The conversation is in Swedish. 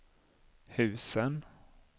husen